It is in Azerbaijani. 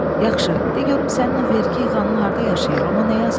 Yaxşı, de görüm sənin o vergi yığanın harda yaşayır, ona nə yazaq?